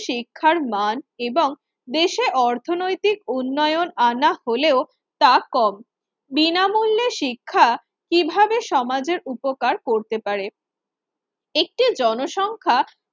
শিক্ষার মান এবং দেশে অর্থনৈতিক উন্নয়ন আনা হলেও তা কম। বিনামূল্য শিক্ষা কিভাবে সমাজের উপকার করতে পারে? একটি জনসংখ্যা